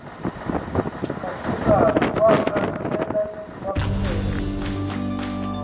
kadingane wakhaeula waphindelela